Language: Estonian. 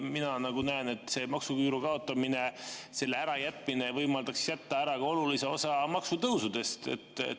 Mina näen, et maksuküüru kaotamine, selle ära jätmine võimaldaks ära jätta ka olulise osa maksutõuse.